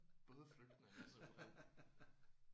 Bådflygtninge simpelthen